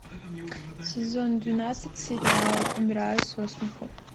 сезон двенадцать сериал умираю со смеху